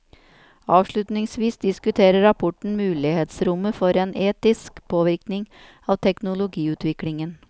Avslutningsvis diskuterer rapporten mulighetsrommet for en etisk påvirkning av teknologiutviklingen.